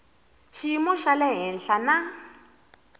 xiyimo xa le henhla na